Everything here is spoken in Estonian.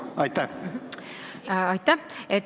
Aitäh!